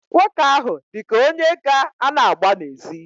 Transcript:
Nwoke ahụ dị ka onye ga-ana agba n'ezi.